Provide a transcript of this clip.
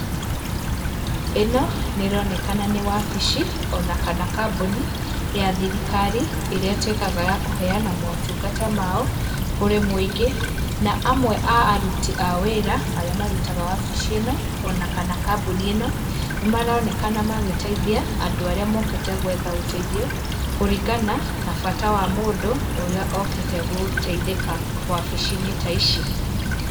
Ĩno nĩ ronekana nĩ wabici ona kana kambuni ya thirikari ĩrĩa ĩtwĩkaga ya kũheana motungata mao kũrĩ muingĩ. Na amwe a aruti a wĩra arĩa marutaga wabici ĩno ona kana kambuni ĩno, nĩ maronekana magĩteithia andũ arĩa mokĩte gwetha ũteithio kũringana na bata wa mũndũ ũrĩa okĩte gũteithĩka wabici-inĩ ta ici.